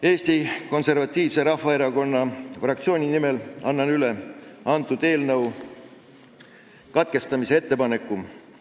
Eesti Konservatiivse Rahvaerakonna fraktsiooni nimel annan üle lugemise katkestamise ettepaneku.